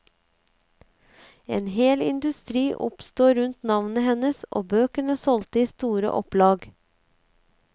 En hel industri oppstod rundt navnet hennes, og bøkene solgte i store opplag.